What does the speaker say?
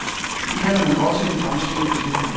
Det kalder man også en fremsynet beslutning.